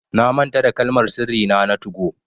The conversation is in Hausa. Na manta da Kalmar sirri nà na 2go.